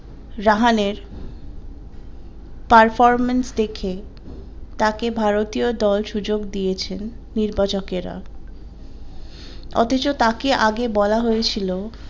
রাহানের performance দেখে তাকে ভারতীয় দল সুযোগ দিয়েছেন নির্বাচকেরা অথচ তাকে আগে বলা হয়ে ছিল।